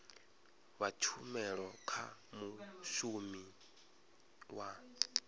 fha tshumelo kha mushumi wa